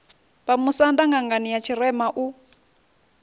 vhamusanda ṅangani ya tshirema u